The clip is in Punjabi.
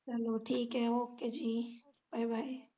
ਚੱਲੋ ok ਜੀ bye bye